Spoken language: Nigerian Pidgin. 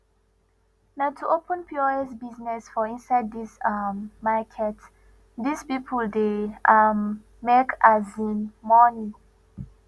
na to open pos business for inside this um market this people dey um make um money